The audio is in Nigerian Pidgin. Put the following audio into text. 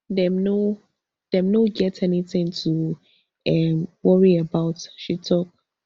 dem no dem no get anytin to um worry about she tok